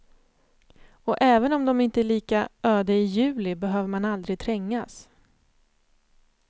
Och även om de inte är lika öde i juli behöver man aldrig trängas.